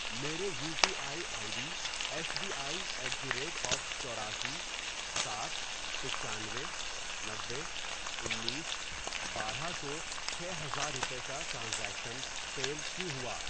میرے U P I I D, S B I at the rate of چوراسی ، سات ، پچانوے ،نوے ، انیس ، بارہ ، کو چھ ہزار روپے کا ٹرانزیکشن فیل کیوں ہوا؟